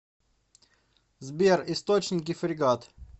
сбер источники фрегат